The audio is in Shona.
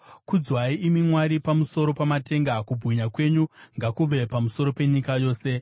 Kudzwai, imi Mwari, pamusoro pamatenga; kubwinya kwenyu ngakuve pamusoro penyika yose. Sera